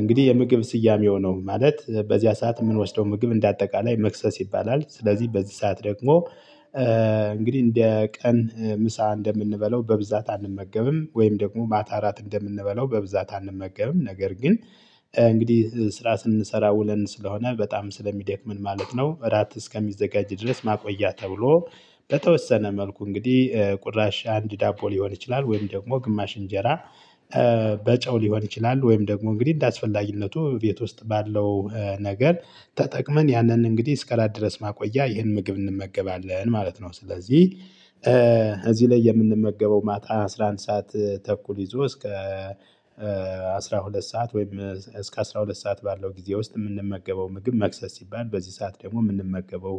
እንግዲህ የምግብ ስያሜው ነው። ማለት በዚያ ሰዓት የምንወስደው ምግብ እንደ አጠቃላይ መክሰስ ይባላል። ስለዚህ በዚህ ሰዓት ደግሞ እንግዲህ እንደ ቀን ምሳ እንደምንበለው በብዛት አንመገብም ወይም ደግሞ ማታ እንደምንበላው በብዛት አንመገብም ነገር ግን እንግዲህ ስራ ስንሰራ ውለን ስለሆነ በጣም ስለሚደክምን ማለት ነው፤ እራት እስከሚዘጋጅ ድረስ ማቆያ ተብሎ በተወሰነ መልኩ እንግዲህ ቁራሽ አንድ ዳቦ ሊሆን ይችላል ወይም ደግሞ ግማሽ እንጀራ ሊሆን ይችላል ወይም ደግሞ እንግዲህ እንደአስፈላጊነቱ ቤት ውስጥ ባለው ነገር ተጠቅመን ያንን እንግዲህ እስከ አራት ድረስ ማቆያ ይህን ምግብ እንመገባለን ማለት ነው። ስለዚህ እዚህ ላይ የምንመገበው ማታ አስራ አንድ ሰዓት ተኩል ይዞ እስከ አስራ ሁለት ሰዓት ወይም እስከ አስራ ሁለት ሰዓት ባለው ጊዜ ውስጥ የምንመገበው ምግብ መክሰስ ሲባል፤ በዚህ ሰዓት ደግሞ የምንመገበው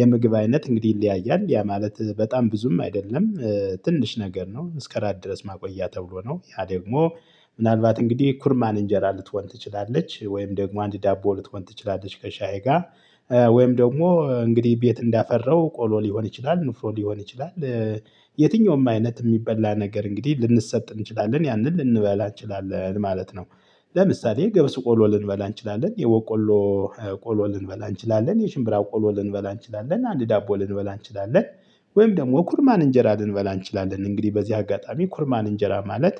የምግብ አይነት እንግዲህ ይለያያል። ያ ማለት በጣም ብዙም አይደለም። ትንሽ ነገር ነው። እስከ እራት ድረስ ማቆያ ተብሎ ነው። ያ ደግሞ ምናልባት እንግዲህ ኩርማን እንጀራ ልትሆን ትችላለች። ወይም ደግሞ አንድ ዳቦ ልትሆን ትችላለች ከሻዬ ጋር፤ ወይም ደግሞ እንግዲህ ቤት እንዳፈራው ቆሎ ሊሆን ይችላል፤ ንፍሮ ሊሆን ይችላል፤ የትኛውም አይነት የሚበላ ነገር እንግዲህ ልንሰጥ እንችላለን። ያንን ልንበላ እንችላለን ማለት ነው። ለምሳሌ ገብስ ቆሎ ልንበላ እንችላለን። የበቆሎ ቆሎ ልንበላ እንችላለን። የሽምብራ ቆሎ ልንበላ እንችላለን። አንድ ዳቦ ልንበላ እንችላለን። ወይም ደግሞ ኩርማን እንጀራ ልንበላ እንችላለን። እንግዲህ በዚህ አጋጣሚ ኩርማን እንጀራ ማለት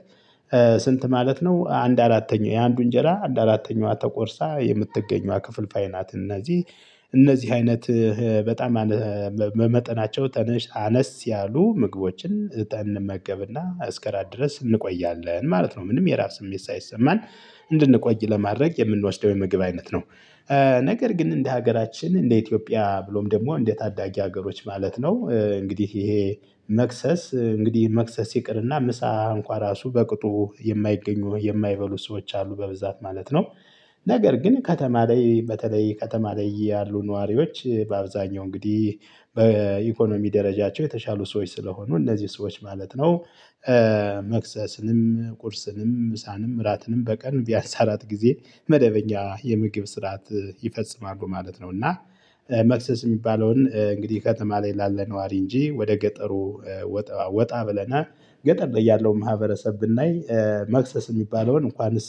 ስንት ማለት ነው? አንድ አራተኛው የአንዱ እንጀራ አንድ አራተኛዋ ተቆርሳ የምትገኘዋ ክፍልፋይ ናት እነዚህ እነዚህ አይነት በጣም መጠናቸው ትንሽ አነስ ያሉ ምግቦችን አስከራት ድረስ እንቆያለን ማለት ነው። ምንም የራብ ስሜት ሳይሰማን እንድንቆይ ለማድረግ የምንወስደው ደግሞ የምግብ አይነት ነው። ነገር ግን እንደ ሀገራችን እንደ ኢትዮጵያ ብሎም ደግሞ እንደ ታዳጊ ሀገሮች ማለት ነው እንግዲህ ይሄ መክሰስ እንግዲህ መክሰስ ይቅርና ምሳ እንኳን ራሱ በቅጡ የማይገኙ የማይበሉ ሰዎች አሉ በብዛት ማለት ነው። ነገር ግን ከተማ ላይ በተለይ ከተማ ላይ ያሉ ነዋሪዎች በአብዛኛው እንግዲህ በኢኮኖሚ ደረጃቸው የተሻሉ ሰዎች ስለሆኑ እነዚህ ሰዎች ማለት ነው። መክሰስንም ቁርስንም ምሳንም እራትንም በቀን ቢያንስ አራት ጊዜ መደበኛ የምግብ ስርዓት ይፈጽማሉ ማለት ነው። እና መክሰስ የሚባለውን እንግዲህ ከተማ ላይ ላለ ነዋሪ እንጂ ወደ ገጠሩ ወጣ ብለን ገጠር ላይ ያለውን ማህበረሰብ ብናይ መክሰስ የሚባለውን እንኳንስ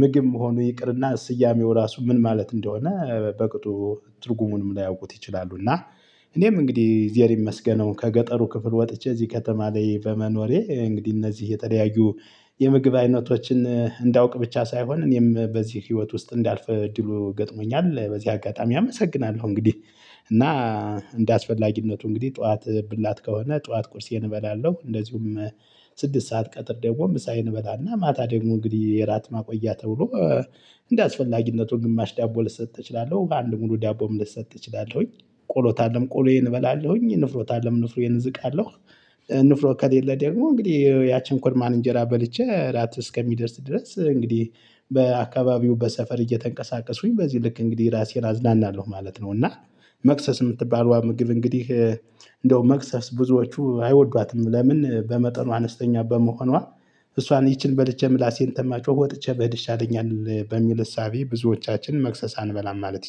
ምግብ መሆኑ ይቅርና ስያሜው ራሱ ምን ማለት እንደሆነ በቅጡ ትርጉሙንም ላያውቁት ይችላሉ። እና እኔም እንግዲህ እግዜር ይመስገነው ከገጠሩ ክፍል ወጥቼ እዚህ ከተማ ላይ በመኖሬ እንግዲህ እነዚህ የተለያዩ የምግብ አይነቶችን እንዳውቅ ብቻ ሳይሆን እኔም በዚህ ህይወት ውስጥ እንዳልፍ እድሉ ገጥሞኛል። በዚህ አጋጣሚ አመሰግናለሁ እንግዲህ። እና እንደ አስፈላጊነቱ እንግዲህ ጠዋት ብላት ከሆነ ጠዋት ቁርሴን እበላለሁ። እንደዚሁም ስድስት ሰዓት ቀትር ደግሞ ምሳየን እበላና ማታ ደግሞ እንግዲህ የራት ማቆያ ተብሎ እንደአስፈላጊነቱ ግማሽ ዳቦ ልሰጥ እችላለሁ። በአንድ ሙሉ ዳቦም ልሰጥ እችላለሁኝ። ቆሎ ታለም ቆሎዬን እበላለሁኝ። ንፍሮ ካለም ንፍሮዬን እዝቃለሁ። ንፍሮ ከሌለ ደግሞ እንግዲህ ያቺን ኩርማን እንጀራ በልቼ እራት እስከሚደርስ ድረስ እንግዲህ በአካባቢው በሰፈር እየተንቀሳቀስኩኝ በዚህ ልክ እንግዲህ ራሴን አዝናናለሁ ማለት ነው። እና መክሰስ የምትባለው ምግብ እንግዲህ እንደው መክሰስ ብዙዎቹ አይወዷትም። ለምን? በመጠኑ አነስተኛ በመሆኗ እሷን ይቺን በልቼ ምላሴን ተማጮህ ወጥቼ ብሄድ ይሻለኛል በሚል እሳቤ ብዙዎቻችን መክሰስ እንበላም ማለት